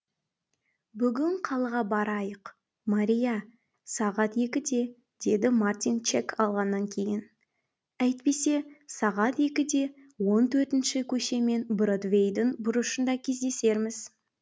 бүгін қалаға барайық мария сағат екіде деді мартин чек алғаннан кейін әйтпесе сағат екіде он төртінші көше мен бродвейдің бұрышында кездесерміз